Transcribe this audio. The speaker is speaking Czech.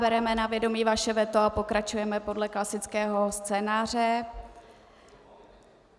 Bereme na vědomí vaše veto a pokračujeme podle klasického scénáře.